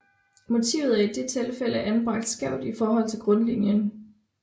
Motivet er i dette tilfælde anbragt skævt i forhold til grundlinien